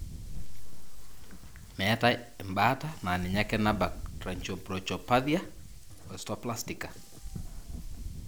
meetae ebaata na ninye ake nabaak tracheobronchopathia osteoplastica (TO).